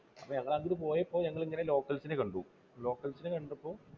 ഞങ്ങൾ അങ്ങോട്ട് പോയപ്പോൾ ഞങ്ങൾ ഇങ്ങനെ locals നെ കണ്ടു locals നെ കണ്ടപ്പോൾ